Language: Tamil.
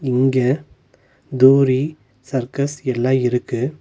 இங்க தூரி சர்க்கஸ் எல்லா இருக்கு.